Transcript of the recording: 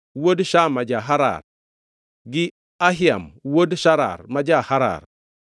wuod Shama ja-Harar, gi Ahiam wuod Sharar ma ja-Harar,